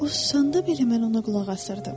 O susanda belə mən ona qulaq asırdım.